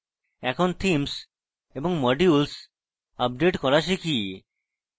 এখন themes এবং modules update করা শিখি